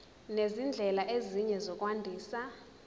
nezindlela ezinye zokwandisa